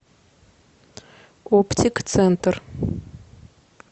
оптик центр